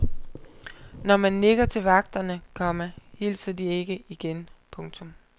Når man nikker til vagterne, komma hilser de ikke igen. punktum